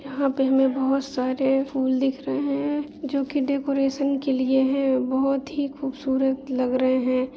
यहाँ पे हमें बहुत सारे फूल दिख रहे है जो कि डेकोरेशन के लिए है बहुत ही खूबसूरत लग रहे है।